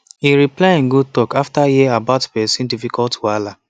he reply in good talk after hear about person difficult wahala